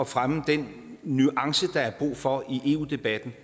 fremme den nuance der er brug for i eu debatten